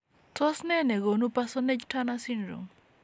Tos nee negonu Parsonage Turner syndrome ?